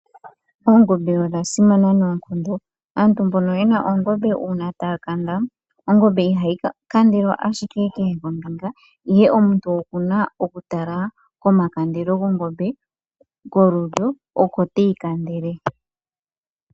Oongombe odha simana noonkondo aantu mbono yena oongombe uuna taya kanda ongombe ihayi kandelwa ashike kehe ombinga ihe omuntu okuna oku tala koma kandelo gongombe kolulyo oko teyi kandele.